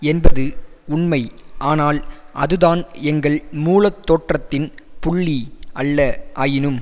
என்பது உண்மை ஆனால் அதுதான் எங்கள் மூல தோற்றத்தின் புள்ளி அல்ல ஆயினும்